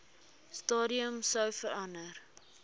stadium sou verander